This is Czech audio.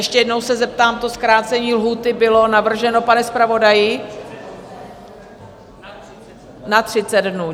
Ještě jednou se zeptám - to zkrácení lhůty bylo navrženo, pane zpravodaji... na 30 dnů.